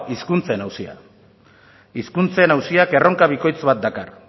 hizkuntzen auzia hizkuntzen auziak erronka bikoitz bat dakar